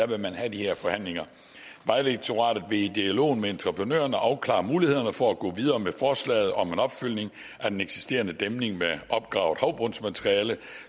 vil have de her forhandlinger vejdirektoratet vil i dialogen med entreprenørerne afklare mulighederne for at gå videre med forslaget om en opfyldning af den eksisterende dæmning med opgravet havbundsmateriale